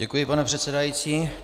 Děkuji, pane předsedající.